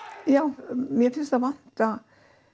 já mér finnst það vanta